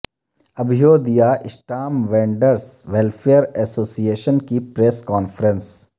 ابھیودیا stamp vendors welfare association کی press conference